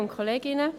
der BaK.